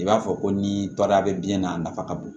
I b'a fɔ ko ni barika bɛ biyɛn na a nafa ka bon